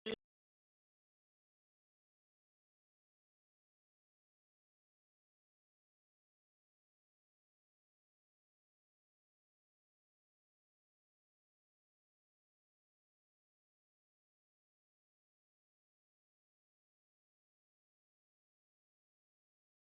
Það er komið nóg.